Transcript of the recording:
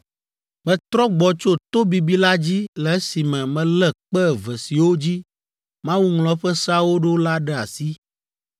Metrɔ gbɔ tso to bibi la dzi le esime melé kpe eve siwo dzi Mawu ŋlɔ eƒe seawo ɖo la ɖe asi.